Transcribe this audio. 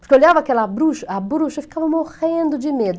Porque eu olhava aquela bruxa, a bruxa ficava morrendo de medo.